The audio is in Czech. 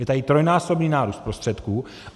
Je tady trojnásobný nárůst prostředků.